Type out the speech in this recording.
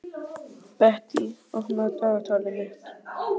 Bettý, opnaðu dagatalið mitt.